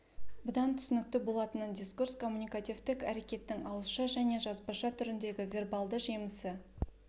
бұдан түсінікті болатыны дискурс коммуникативтік әрекеттің ауызша және жазбаша түріндегі вербалды жемісі